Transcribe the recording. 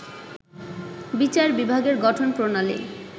বিচার বিভাগের গঠন প্রণালী